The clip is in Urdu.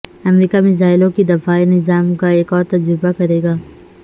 امریکہ میزائلوں کے دفاعی نظام کا ایک اور تجربہ کرے گا